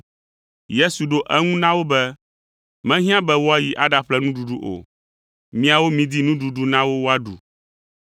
Yesu ɖo eŋu na wo be, “Mehiã be woayi aɖaƒle nuɖuɖu o, miawo midi nuɖuɖu na wo woaɖu!”